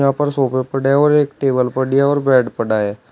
और सोफे पढ़े और एक टेबल और बेड पड़ा है।